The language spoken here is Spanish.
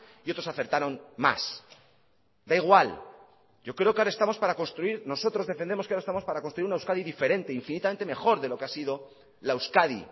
y otros acertaron más da igual yo creo que ahora estamos para construir nosotros defendemos que ahora estamos para construir una euskadi diferente infinitamente mejor de lo que ha sido la euskadi